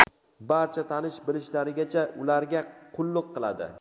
barcha tanish-bilishlarigacha ularga qulluq qiladi.